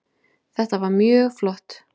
Þetta var mjög flott